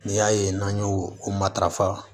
N'i y'a ye n'an y'o o matarafa